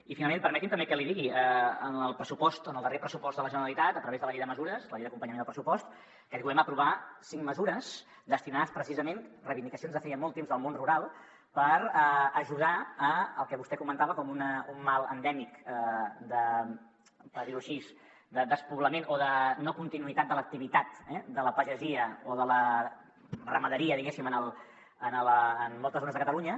i finalment permeti’m també que l’hi digui en el darrer pressupost de la generalitat a través de la llei de mesures la llei d’acompanyament al pressupost aquest govern va aprovar cinc mesures destinades precisament reivindicacions de feia molt temps del món rural a ajudar al que vostè comentava com un mal endèmic per dir ho així de despoblament o de no continuïtat de l’activitat de la pagesia o de la ramaderia diguéssim en moltes zones de catalunya